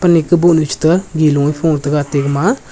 ime kubow nu chi taiga gi law a kho tega ate gama--